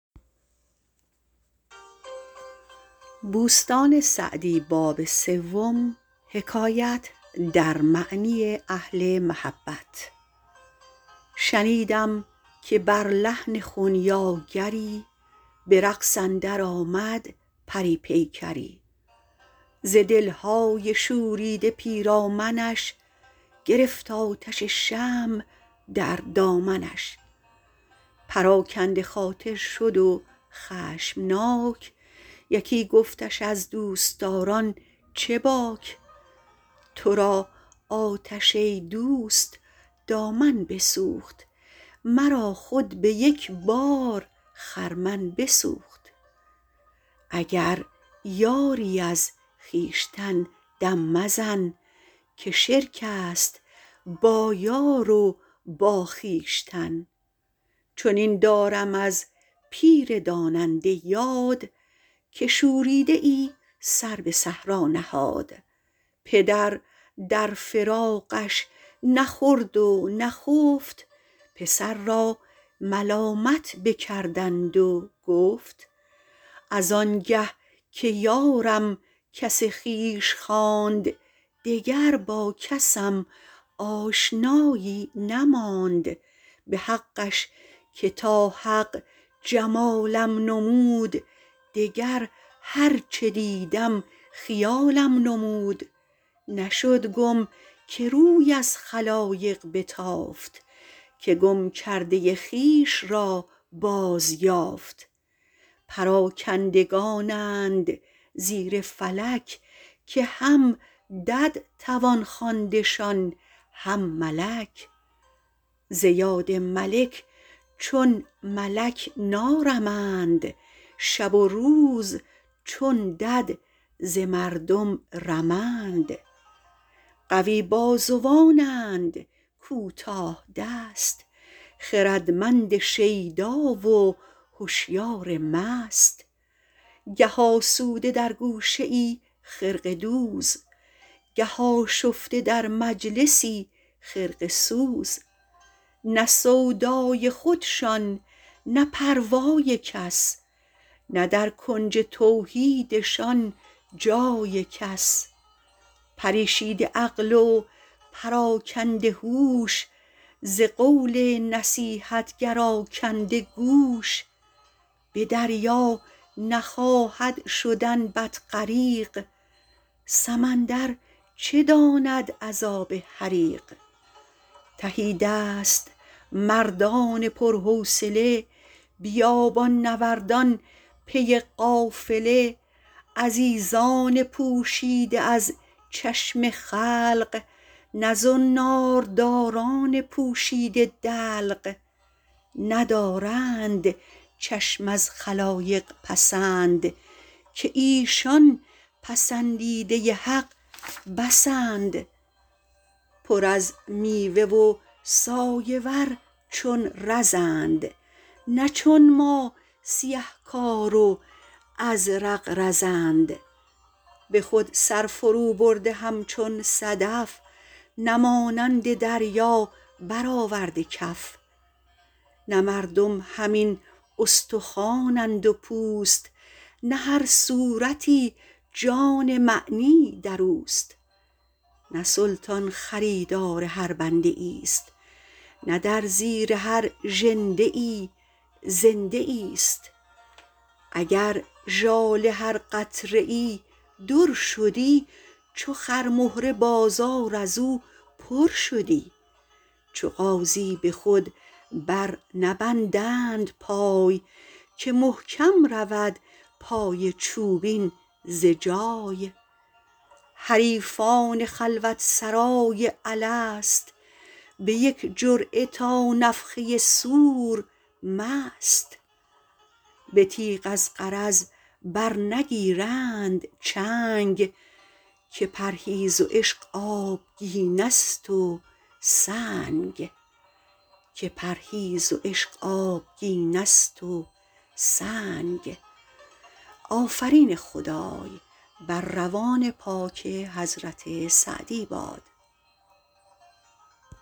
شنیدم که بر لحن خنیاگری به رقص اندر آمد پری پیکری ز دلهای شوریده پیرامنش گرفت آتش شمع در دامنش پراکنده خاطر شد و خشمناک یکی گفتش از دوستداران چه باک تو را آتش ای دوست دامن بسوخت مرا خود به یک بار خرمن بسوخت اگر یاری از خویشتن دم مزن که شرک است با یار و با خویشتن چنین دارم از پیر داننده یاد که شوریده ای سر به صحرا نهاد پدر در فراقش نخورد و نخفت پسر را ملامت بکردند و گفت از انگه که یارم کس خویش خواند دگر با کسم آشنایی نماند به حقش که تا حق جمالم نمود دگر هر چه دیدم خیالم نمود نشد گم که روی از خلایق بتافت که گم کرده خویش را باز یافت پراکندگانند زیر فلک که هم دد توان خواندشان هم ملک ز یاد ملک چون ملک نارمند شب و روز چون دد ز مردم رمند قوی بازوانند کوتاه دست خردمند شیدا و هشیار مست گه آسوده در گوشه ای خرقه دوز گه آشفته در مجلسی خرقه سوز نه سودای خودشان نه پروای کس نه در کنج توحیدشان جای کس پریشیده عقل و پراکنده هوش ز قول نصیحتگر آکنده گوش به دریا نخواهد شدن بط غریق سمندر چه داند عذاب حریق تهیدست مردان پر حوصله بیابان نوردان پی قافله عزیزان پوشیده از چشم خلق نه زنار داران پوشیده دلق ندارند چشم از خلایق پسند که ایشان پسندیده حق بسند پر از میوه و سایه ور چون رزند نه چون ما سیه کار و ازرق بزند به خود سر فرو برده همچون صدف نه مانند دریا بر آورده کف نه مردم همین استخوانند و پوست نه هر صورتی جان معنی در اوست نه سلطان خریدار هر بنده ای است نه در زیر هر ژنده ای زنده ای است اگر ژاله هر قطره ای در شدی چو خرمهره بازار از او پر شدی چو غازی به خود بر نبندند پای که محکم رود پای چوبین ز جای حریفان خلوت سرای الست به یک جرعه تا نفخه صور مست به تیغ از غرض بر نگیرند چنگ که پرهیز و عشق آبگینه ست و سنگ